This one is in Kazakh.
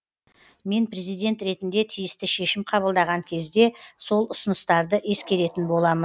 мен президент ретінде тиісті шешім қабылдаған кезде сол ұсыныстарды ескеретін боламын